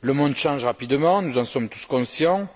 Le monde change rapidement, nous en sommes tous conscients,